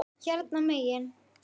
Hérna megin.